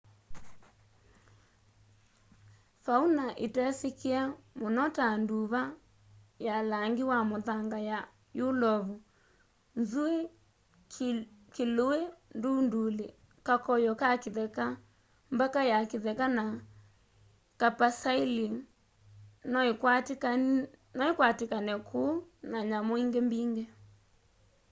fauna itesikie muno ta nduva ya langi wa muthanga ya yulovu nzui kilui ndunduli kakoyo ka kitheka mbaka ya kitheka na capercaillie noikwatikane kûu na nyamu ingi mbingi